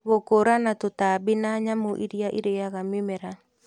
Gũkũũrana tũtambi na nyamũ iria ĩrĩaga mĩmera